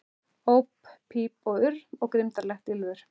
Óp píp og urr, og grimmdarlegt ýlfur.